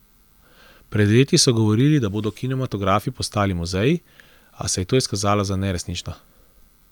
Pred leti so govorili, da bodo kinematografi postali muzeji, a se je to izkazalo za neresnično.